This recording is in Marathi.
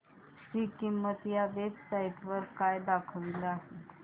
ची किंमत या वेब साइट वर काय दाखवली आहे